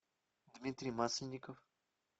дмитрий масленников